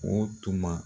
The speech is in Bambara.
O tuma